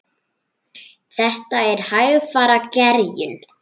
Þetta er hægfara gerjun.